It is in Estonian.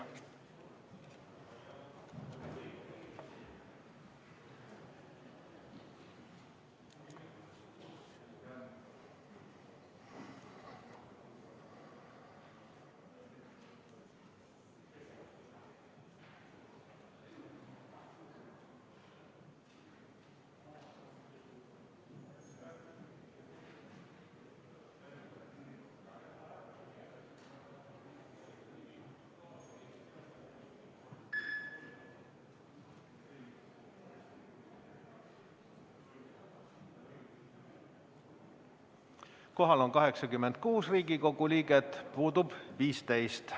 Kohal on 86 Riigikogu liiget, puudub 15.